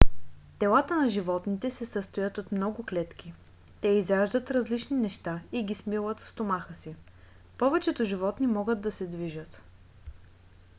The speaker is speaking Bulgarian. телата на животните се състоят от много клетки. те изяждат различни неща и ги смилат в стомаха си. повечето животни могат да се движат